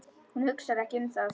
Hún hugsar ekki um það.